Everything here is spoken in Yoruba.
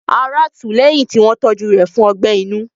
Ará tù ú lẹ́yìn tí wọ́n tọ́jú rẹ̀ fún ọgbẹ́ inú.